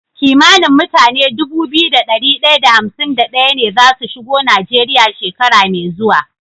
Kimanin mutane Dubu biyu da dari daya da hamsin da daya ne zasu shigo nigeria shekara me zuwa